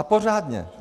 A pořádně!